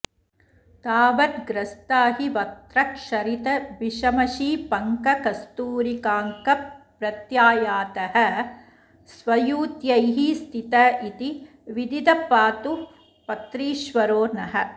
तावद्ग्रस्ताहिवक्त्रक्षरितविषमषीपङ्ककस्तूरिकाङ्कः प्रत्यायातः स्वयूथ्यैः स्थित इति विदितः पातु पत्रीश्वरो नः